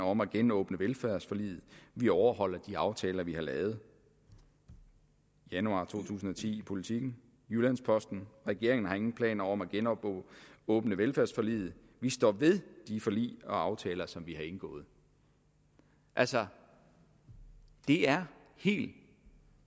om at genåbne velfærdsforliget vi overholder de aftaler vi har lavet januar to tusind og ti i politiken jyllands posten regeringen har ingen planer om at genåbne velfærdsforliget vi står ved de forlig og aftaler som vi har indgået altså det er helt